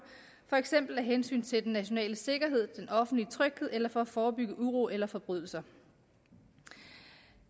for eksempel af hensyn til den nationale sikkerhed den offentlige tryghed eller for at forebygge uro eller forbrydelser